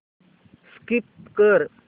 skip कर